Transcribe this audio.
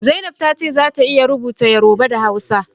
Zainab ta ce za ta iya rubuta Yoruba da Hausa